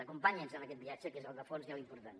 acompanyi’ns en aquest viatge que és el de fons i l’important